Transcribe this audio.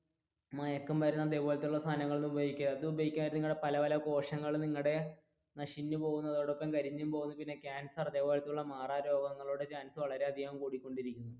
മയക്കുമരുന്ന് അതേപോലത്തെയുള്ള സാധനങ്ങൾ ഒന്നും ഉപയോഗിക്കരുത് അത് ഉപയോഗിച്ചാൽ നിങ്ങളുടെ പല പല കോശങ്ങളും നിങ്ങളുടെ നശിഞ്ഞുപോകുന്നടൊപ്പം തന്നെ കരിഞ്ഞു പോകും പിന്നെ കാൻസർ അതേപോലത്തെയുള്ള മാറാരോഗങ്ങളുടെ chance വളരെയധികം കൂടി കൊണ്ടിരിക്കും